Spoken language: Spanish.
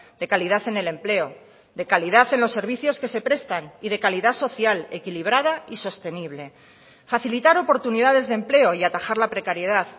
de calidad en el empleo de calidad en los servicios que se prestan y de calidad social equilibrada y sostenible facilitar oportunidades de empleo y atajar la precariedad